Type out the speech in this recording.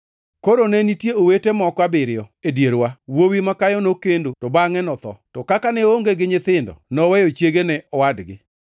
Koro ne nitie owete moko abiriyo e dierwa. Wuowi makayo nokendo to bangʼe notho, to kaka ne oonge gi nyithindo, noweyo chiege ne owadgi.